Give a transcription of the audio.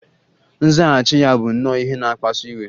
Nzaghachi ya bụ nnọọ ihe na-akpasu iwe